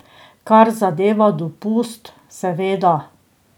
Kar zadeva dopust, seveda.